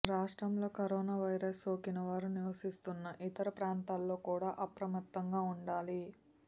రాష్ట్రంలో corona virus సోకిన వారు నివసిస్తున్న ఇతర ప్రాంతాల్లో కూడా అప్రమత్తంగా ఉండాలి